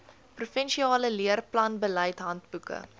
provinsiale leerplanbeleid handboeke